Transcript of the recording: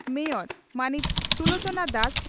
mayor ᱢᱟᱹᱱᱤᱡ ᱥᱩᱞᱚᱪᱚᱱᱟ ᱫᱟᱥ